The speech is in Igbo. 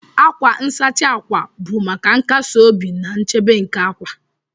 Akwa nsachi akwa bụ maka nkasi obi na nchebe nke akwa